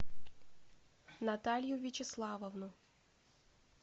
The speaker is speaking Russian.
наталью вячеславовну